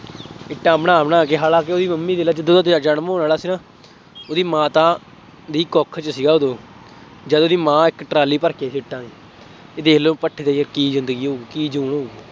ਇੱਟਾਂ ਬਣਾ ਬਣਾ ਕੇ ਹਾਲਾਂਕਿ ਉਹਦੀ ਮੰਮੀ ਦੇਖ ਲਾ ਜਦੋਂ ਉਹਦਾ ਜਨਮ ਹੋਣ ਵਾਲਾ ਸੀ ਨਾ, ਉਹਦੀ ਮਾਤਾ, ਦੀ ਕੁੱਖ ਸੀਗਾ ਉਦੋਂ ਜਦੋਂ ਉਹਦੀ ਮਾਂ ਇੱਕ ਟਰਾਲੀ ਭਰ ਕੇ ਇੱਟਾਂ ਦੀ, ਇਹ ਦੇਖ ਲਉ ਭੱਠੇ ਤੇ ਕੀ ਜ਼ਿੰਦਗੀ ਹੋਊ, ਕੀ ਜੂਨ ਹੋਣੀ।